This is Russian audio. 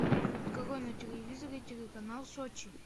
открой на телевизоре телеканал сочи